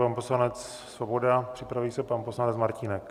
Pan poslanec Svoboda, připraví se pan poslanec Martínek.